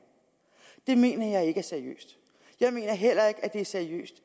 det mener jeg ikke er seriøst jeg mener heller ikke at det er seriøst